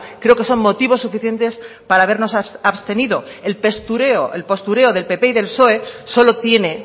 creo que son motivos suficientes para habernos abstenido el postureo del pp y del psoe solo tiene